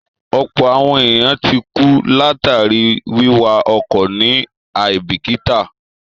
Ọ̀pọ̀ àwọn èèyàn ti kú látàríi wíwa ọkọ̀ ní àíbìkítà